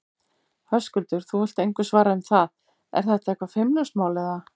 Höskuldur: Þú vilt engu svara um það, er þetta eitthvað feimnismál, eða?